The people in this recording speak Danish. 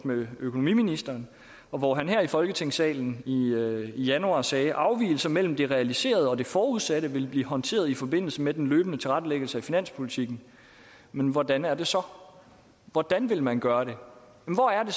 med økonomiministeren hvor han her i folketingssalen i januar sagde at afvigelser mellem det realiserede og det forudsatte vil blive håndteret i forbindelse med den løbende tilrettelæggelse af finanspolitikken men hvordan er det så hvordan vil man gøre det hvor er det